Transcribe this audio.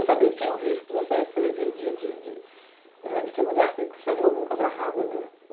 Eu sabia que tinha o risco de você ser vítima de queima de arquivo, porque você viu alguma coisa errada, né?